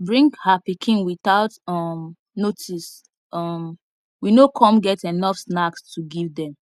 bring her pikin without um notice um we no com get enough snacks to give them